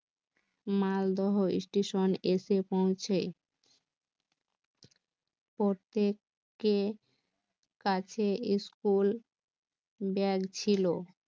Malda station, এসে পৌঁছে, প্রত্যেক এর কাছে ইস্কুল, ব্যাগ ছিল